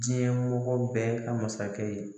Diɲɛ mɔgɔ bɛ ka masakɛ ye